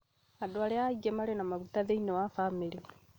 Andũ arĩa marĩ na maguta maingĩ thĩinĩ wa bamĩrĩ